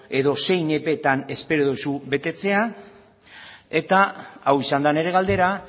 edo zein epeetan espero duzu betetzea eta hau izan da nire galdera